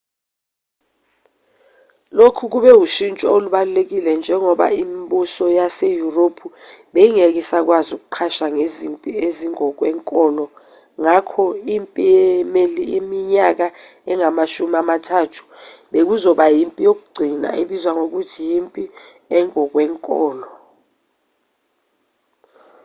lokhu kube ushintsho olubalulekile njengoba imibuso yaseyurophi beyingeke isakwazi ukuqasha ngezimpi ezingokwenkolo ngakho impi yeminyaka engamashumi amathathu bekuzoba yimpi yokugcina ebizwa ngokuthi yimpi engokwenkolo